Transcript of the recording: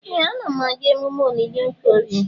Ee! Ana m aga emume olili Okorie.